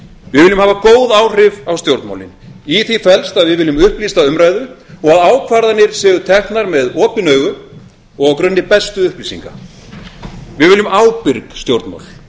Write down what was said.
við viljum hafa góð áhrif á stjórnmálin í því felst að við viljum upplýsta umræðu og að ákvarðanir séu teknar með opin augu og á grunni bestu upplýsinga við viljum ábyrg stjórnmál